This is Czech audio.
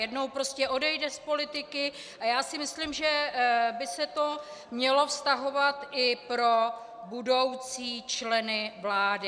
Jednou prostě odejde z politiky, a já si myslím, že by se to mělo vztahovat i pro budoucí členy vlády.